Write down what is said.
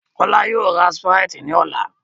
Kọ́lá yóò ra Sprite ní ọ̀la